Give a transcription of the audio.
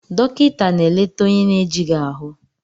Dọkịta na-eleta onye na-ejighị ahụ